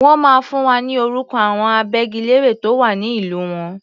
Wọ́n máa fún wa ní orúkọ àwọn agbẹ́gilére tó wà ní ìlú wọn.